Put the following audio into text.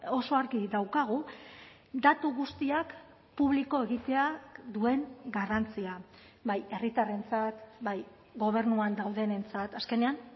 oso argi daukagu datu guztiak publiko egiteak duen garrantzia bai herritarrentzat bai gobernuan daudenentzat azkenean